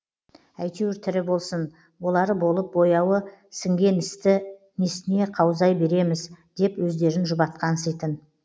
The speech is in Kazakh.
әйтеуір тірі болсын болары болып бояуы сіңген істі несіне қаузай береміз деп өздерін жұбатқанситын